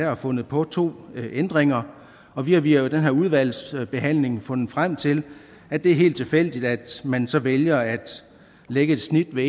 har fundet på to ændringer og vi har via den her udvalgsbehandling fundet frem til at det er helt tilfældigt at man så vælger at lægge et snit ved